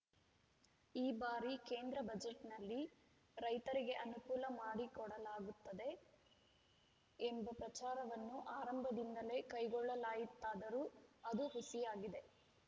ಈ ಬಾರಿ ಕೇಂದ್ರ ಬಜೆಟ್‌ನಲ್ಲಿ ರೈತರಿಗೆ ಅನುಕೂಲ ಮಾಡಿಕೊಡಲಾಗುತ್ತದೆ ಎಂಬ ಪ್ರಚಾರವನ್ನು ಆರಂಭದಿಂದಲೇ ಕೈಗೊಳ್ಳಲಾಯಿತ್ತಾದರು ಆದು ಹುಸಿಯಾಗಿದೆ